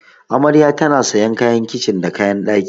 Amarya tana sayan kayan kicin da kayan ɗaki.